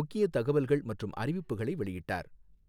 முக்கிய தகவல்கள் மற்றும் அறிவிப்புகளை வெளியிட்டார்.